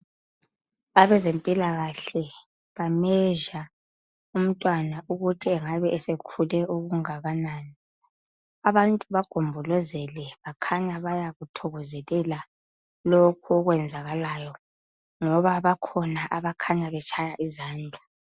Abezempikahle bamezha umntwana ukuthi engabe esekhule okungakanani abantu bagombolozele bakhanya bayakuthokozelela lokhu okuyenzakalayo ngoba bakhona abanye batshaya izandla.